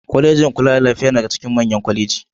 Kwalejin kula da lafiya yana daga cikin manyan kwaleji.